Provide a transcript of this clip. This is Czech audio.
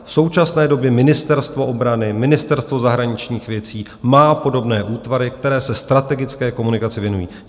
V současné době Ministerstvo obrany, Ministerstvo zahraničních věcí má podobné útvary, které se strategické komunikaci věnují.